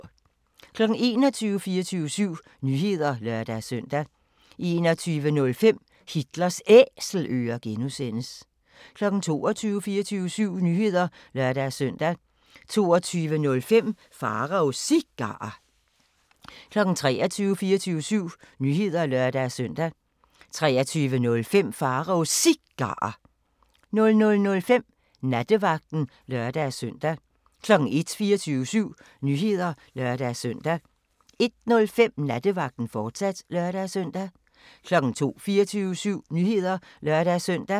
21:00: 24syv Nyheder (lør-søn) 21:05: Hitlers Æselører (G) 22:00: 24syv Nyheder (lør-søn) 22:05: Pharaos Cigarer 23:00: 24syv Nyheder (lør-søn) 23:05: Pharaos Cigarer 00:05: Nattevagten (lør-søn) 01:00: 24syv Nyheder (lør-søn) 01:05: Nattevagten, fortsat (lør-søn) 02:00: 24syv Nyheder (lør-søn)